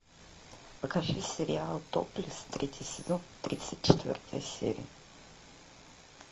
покажи сериал топлес третий сезон тридцать четвертая серия